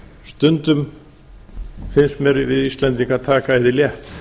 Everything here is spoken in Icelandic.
stundum finnst mér við íslendingar taka æði létt